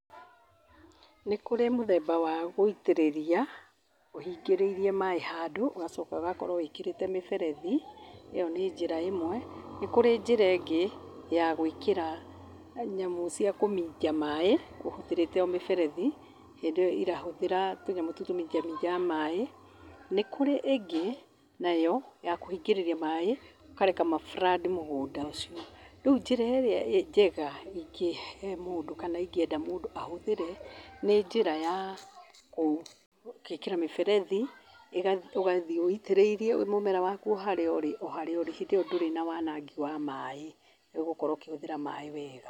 Nĩ kũrĩ mũthemba wa gũitĩrĩria, ũhingĩrĩirie maaĩ handũ ũgacoka ũgakorwo wĩkĩrĩte mĩberethi, ĩyo nĩ njĩra ĩmwe, nĩ kũrĩ njĩra ĩngĩ ya gwĩkĩra nyamũ cia kũminja maaĩ, ũhũthĩrĩte o mĩberethi, hĩndĩ ĩyo ĩrahũthĩra tũnyamũ tũtũ tũminja minjaga maaĩ, nĩ kũrĩ ĩngĩ nayo ya kũhingĩrĩria maaĩ, ũkareka ma flood mũgũnda ũcio. Rĩu njĩra ĩrĩa njega ingĩhe mũndũ kana ingĩenda mũndũ ahũthĩre, nĩ njĩra ya kwĩkĩra mĩberethi, ũgathiĩ wũitĩrĩirie o mũmera waku harĩa ũrĩ, o harĩa ũrĩ hĩndĩ ĩyo ndũrĩ na wanangi wa maaĩ, ũgũkorwo ũkĩhũthĩra maaĩ wega.